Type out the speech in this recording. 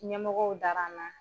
Ɲɛmɔgɔw dar'an na